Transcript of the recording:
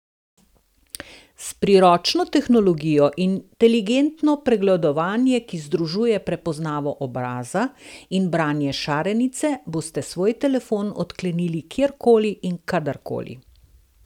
S priročno tehnologijo inteligentno pregledovanje, ki združuje prepoznavo obraza in branje šarenice, boste svoj telefon odklenili kjerkoli in kadarkoli.